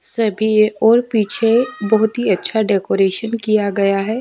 सभी और पीछे बहुत ही अच्छा डेकोरेशन किया गया है।